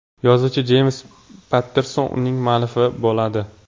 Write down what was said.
Yozuvchi Jeyms Patterson uning hammuallifi bo‘ladi.